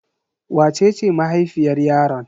Wace ce mahaifiyar yaron?